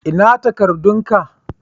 Ina takadun ka?